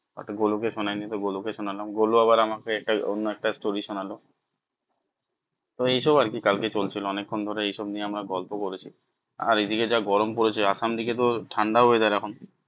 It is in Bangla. But গোলু কে শোনাই নি তো গোলু কে শোনালাম। গোলু আবার আমাকে এটাই অন্য একটা story শোনালো তো এই সব আর কি কাল কে চলছিল অনেক ক্ষণ ধরে এই সব নিয়ে আমরা গল্প করছি। আর এ দিকে যা গরম পড়েছে আসাম দিকে তো ঠান্ডা weather এখন